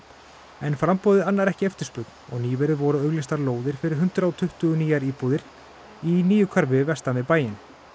en framboðið annar ekki eftirspurn og nýverið voru auglýstar lóðir fyrir hundrað og tuttugu nýjar íbúðir í nýju hverfi vestan við bæinn